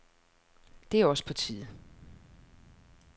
Det er også på tide.